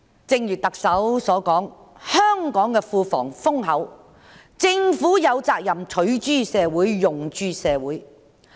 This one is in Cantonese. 正如特首所說，香港的庫房豐厚，政府有責任取諸社會、用諸社會。